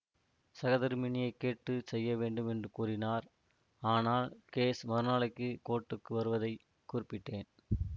சகதர்மிணியைக் கேட்டு செய்ய வேண்டும் என்று கூறினார் ஆனால் கேஸ் மறுநாளைக்கு கோர்ட்டுக்கு வருவதை குறிப்பிட்டேன்